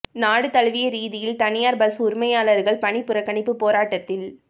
நாடு தழுவிய ரீதியில் தனியார் பஸ் உரிமையாளர்கள் பணிப் புறக்கணிப்பு போராட்டத்தில்